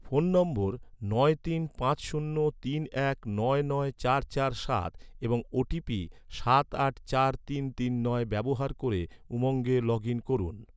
phone নম্বর নয় তিন পাঁচ শূন্য তিন এক নয় নয় চার চার সাত এবং ওটিপি সাত আট চার তিন তিন নয় ব্যবহার ক’রে, উমঙ্গে লগ ইন করুন